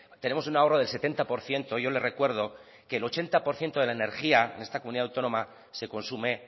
tenemos un ahorro del setenta por ciento yo le recuerdo que el ochenta por ciento de la energía en esta comunidad autónoma se consume